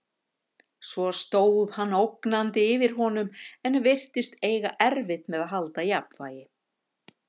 Svo stóð hann ógnandi yfir honum en virtist eiga erfitt með að halda jafnvægi.